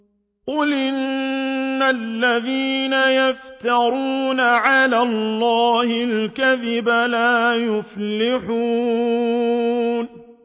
قُلْ إِنَّ الَّذِينَ يَفْتَرُونَ عَلَى اللَّهِ الْكَذِبَ لَا يُفْلِحُونَ